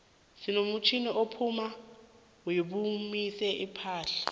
sinomutjnini opula bewomise iimpahla